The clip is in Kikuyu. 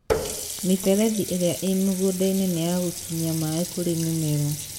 mĩmberethi irĩa ĩ mũgũnda-inĩ nĩ ya gũkinyia maaĩ kũrĩ mĩmera